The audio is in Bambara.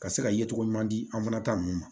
Ka se ka yecogo ɲuman di an fana ta ninnu ma